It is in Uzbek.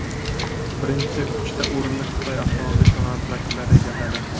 Birinchi uchta o‘rinni Xitoy avtomobil sanoati vakillari egalladi.